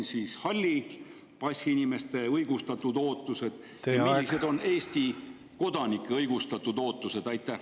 Millised on hallipassiinimeste õigustatud ootused ja millised on Eesti kodanike õigustatud ootused?